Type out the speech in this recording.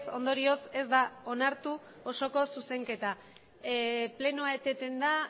ondorioz ez da onartu osoko zuzenketa plenoa eteten da